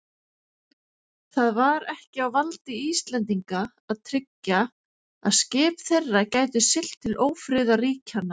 Það var ekki á valdi Íslendinga að tryggja, að skip þeirra gætu siglt til ófriðarríkjanna.